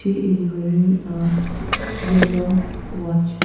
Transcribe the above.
he is wearing a yellow watch.